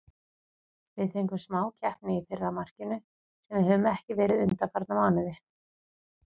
Við fengum smá heppni í fyrra markinu, sem við höfum ekki verið undanfarna mánuði.